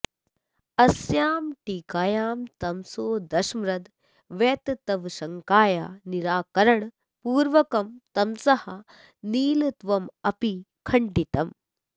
अस्याम् टीकायां तमसो दशमद्रव्यतत्वशङ्काया निराकरणपूर्वकं तमसः नीलत्वमपि खण्डितम्